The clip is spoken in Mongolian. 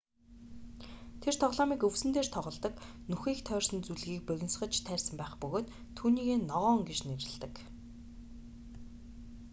тэр тоглоомыг өвсөн дээр тоголдог нүхийг тойрсон зүлгийг богинсгож тайрсан байх бөгөөд түүнийгээ ногоон гэж нэрэлдэг